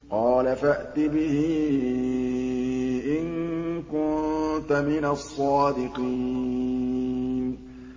قَالَ فَأْتِ بِهِ إِن كُنتَ مِنَ الصَّادِقِينَ